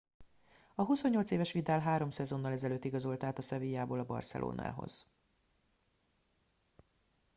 a 28 éves vidal három szezonnal ezelőtt igazolt át a sevillából a barcelonához